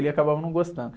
Ele acabava não gostando.